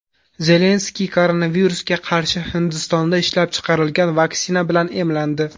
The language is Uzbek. Zelenskiy koronavirusga qarshi Hindistonda ishlab chiqarilgan vaksina bilan emlandi.